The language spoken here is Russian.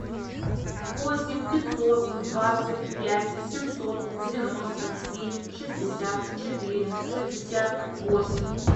восемь пятьсот двадцать пять семьсот девяносто семь шестьдесят четыре шестьдесят восемь